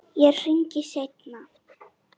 Ég hringi seinna.